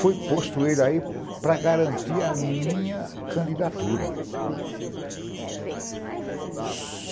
Foi posto ele aí para garantir a minha candidatura.